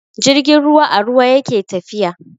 Jirgin ruwa a ruwa yake tafiya.